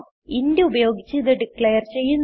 int ഉപയോഗിച്ച് ഇത് declare ചെയ്യുന്നു